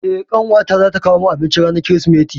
Eh, ƙawata zata kawo min abinci ranar Kirsimeti.